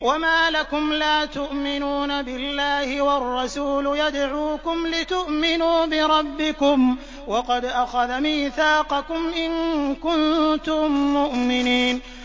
وَمَا لَكُمْ لَا تُؤْمِنُونَ بِاللَّهِ ۙ وَالرَّسُولُ يَدْعُوكُمْ لِتُؤْمِنُوا بِرَبِّكُمْ وَقَدْ أَخَذَ مِيثَاقَكُمْ إِن كُنتُم مُّؤْمِنِينَ